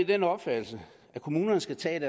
den opfattelse at kommunerne skal tage